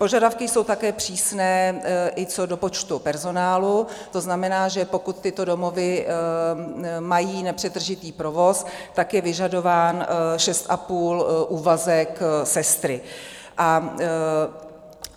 Požadavky jsou také přísné i co do počtu personálu, to znamená, že pokud tyto domovy mají nepřetržitý provoz, tak je vyžadován šest a půl úvazek sestry.